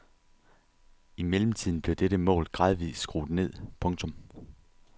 I mellemtiden blev dette mål gradvist skruet ned. punktum